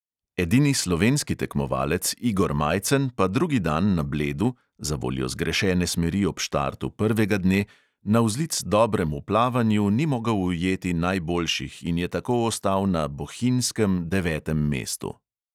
Edini slovenski tekmovalec igor majcen pa drugi dan na bledu – zavoljo zgrešene smeri ob štartu prvega dne – navzlic dobremu plavanju ni mogel ujeti najboljših in je tako ostal na "bohinjskem" devetem mestu.